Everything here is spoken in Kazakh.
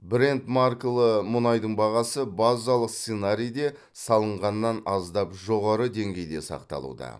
брент маркалы мұнайдың бағасы базалық сценарийде салынғаннан аздап жоғары деңгейде сақталуда